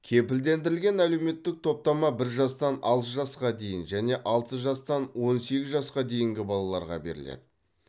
кепілдендірілген әлеуметтік топтама бір жастан алты жасқа дейін және алты жастан он сегіз жасқа дейінгі балаларға беріледі